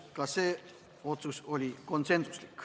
Tänan!